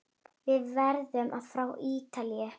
Við erum frá Ítalíu.